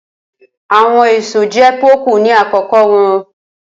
Awọn eso jẹ poku ni akoko wọn.